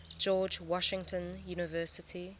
george washington university